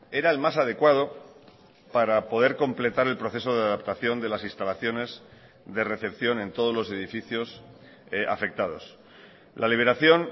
era el más adecuado para poder completar el proceso de adaptación de las instalaciones de recepción en todos los edificios afectados la liberación